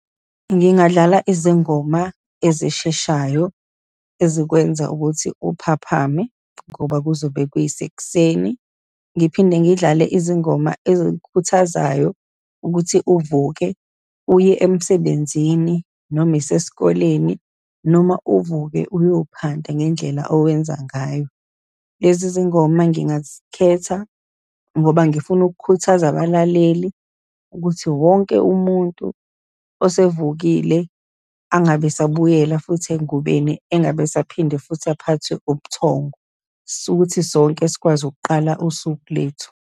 Ngingadlala izingoma ezisheshayo ezikwenza ukuthi uphaphame, ngoba kuzobe kuyisekuseni. Ngiphinde ngidlale izingoma ezikukhuthazayo ukuthi uvuke uye emsebenzini, noma yisesikoleni, noma uvuke uyophanda ngendlela owenza ngayo. Lezi zingoma ngingazikhetha ngoba ngifuna ukukhuthaza abalaleli ukuthi wonke umuntu osevukile angabe esabuyela futhi engubeni, engabe esaphinde futhi aphathwe ubuthongo, sukuthi sonke sikwazi ukuqala usuku lethu.